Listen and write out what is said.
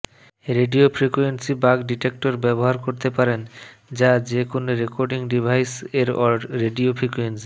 radio frequency bug detector ব্যবহার করতে পারেন যা যে কোন রেকর্ডিং ডিভাইস এর রেডিও ফ্রিকোয়েন্সি